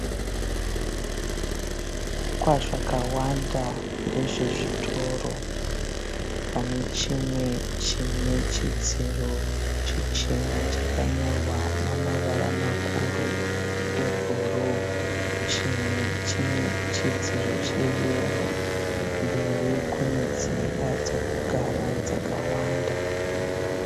Zvivakwa zvakawanda ndezve zvitoro. Pane chimwe chine chidziro chichena chakanyorwa namavara makuru e bhuru. Chimwe chine chidziro che yero. Mberi kune dzimba dzokugara dzakawanda.